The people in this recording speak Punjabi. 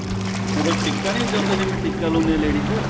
ਜਦੋਂ ਟਿੱਕਾ ਨੀਂ ਲਾਉਂਦੇ ਜਿਵੇਂ ਟਿੱਕਾ ਲਾਉਂਦੇ ਏਂ ladies